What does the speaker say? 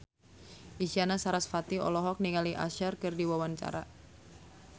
Isyana Sarasvati olohok ningali Usher keur diwawancara